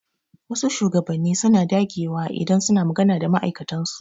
Wasu shugabanni suna dakewa idan suna maga da ma'aikatan su.